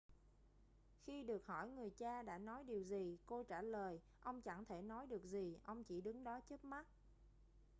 khi được hỏi người cha đã nói điều gì cô trả lời ông chẳng thể nói được gì ông chỉ đứng đó chớp mắt